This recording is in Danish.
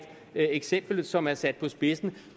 eksempel som er sat på spidsen